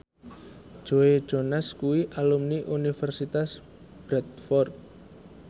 Joe Jonas kuwi alumni Universitas Bradford